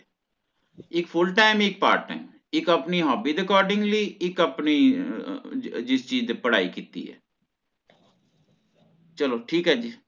ਇੱਕ full time ਇੱਕ part time ਇੱਕ ਆਪਣੀ hobby ਦੇ accordingly ਇੱਕ ਆਪਣੀ ਅਹ ਅਹ ਜਿਸ ਚੀਜ਼ ਦੀ ਪੜ੍ਹਾਈ ਕੀਤੀ ਹੈ ਚਲੋ ਠੀਕ ਹੈ ਜੀ